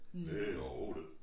Det jo det